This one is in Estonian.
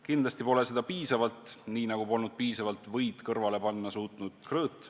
Kindlasti pole seda piisavalt, nii nagu polnud piisavalt võid kõrvale panna suutnud Krõõt.